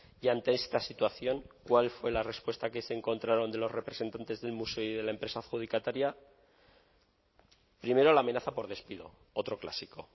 y ante esta situación cuál fue la respuesta que se encontraron de los representantes del museo y de la empresa adjudicataria primero la amenaza por despido otro clásico